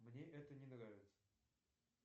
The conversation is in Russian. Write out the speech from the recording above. мне это не нравится